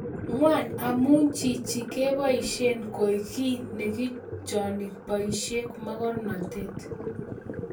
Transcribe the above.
Ngwan amu chichi keboisie koek kiy neikochoni boisiek mogornatet